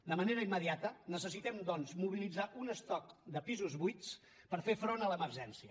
de manera immediata necessitem doncs mobilitzar un estoc de pisos buits per fer front a l’emergència